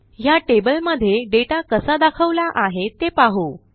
ह्या टेबल मध्ये दाता कसा दाखवला आहे ते पाहू